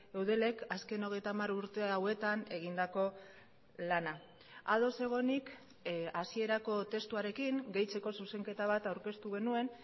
eudelek azken hogeita hamar urte hauetan egindako lana ados egonik hasierako testuarekin gehitzeko zuzenketa bat aurkeztu genuen